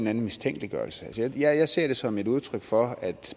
anden mistænkeliggørelse jeg ser det som et udtryk for at